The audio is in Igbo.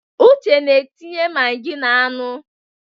Uche na-etinye magi n'anụ.